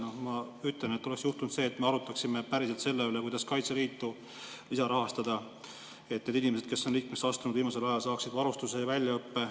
Noh, ma ütlen, et oleks juhtunud see, et me arutaksime päriselt selle üle, kuidas Kaitseliitu lisarahastada, et need inimesed, kes on liikmeks astunud viimasel ajal, saaksid varustuse ja väljaõppe.